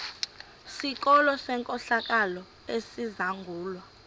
sikolo senkohlakalo esizangulwa